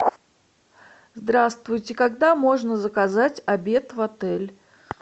здравствуйте когда можно заказать обед в отель